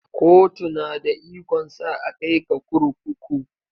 Kotu na da ikon sa a kai ka kurkuku.